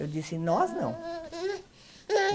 Eu disse, nós não.